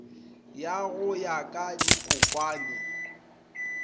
ya go ya ka dikokwane